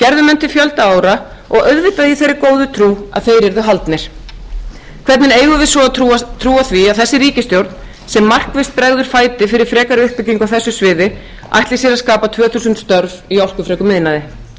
til fjölda ára og auðvitað í þeirri góðu trú að þeir yrðu haldnir hvernig eigum við svo að trúa því að að þessi ríkisstjórn sem markvisst bregður fæti fyrir frekari uppbyggingu á þessu sviði ætli sér að skapa tvö þúsund störf í orkufrekum iðnaði ég